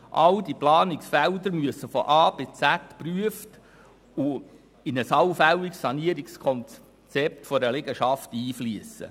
All diese Planungsfelder müssen von A bis Z geprüft werden und in ein allfälliges Sanierungskonzept einer Liegenschaft einfliessen.